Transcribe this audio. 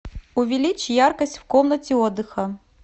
увеличь яркость в комнате отдыха